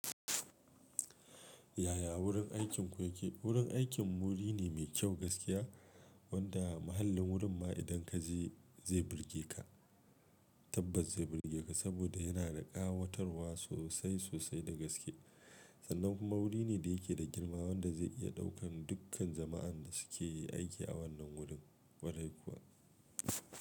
Yaya wurin aikinku yake? Wurin aikin mu wuri ne mai kyau gaskiya wanda mahallin wurin ma idan kaje zai burge ka tabbas zai burge ka saboda yana da ƙawatarwa sosai sosai da gaske sannan kuma wuri ne da yake da girma wanda zai iya ɗaukan dukkan jama'an da suke yi aiki a wannan wurin kwarai kuwa.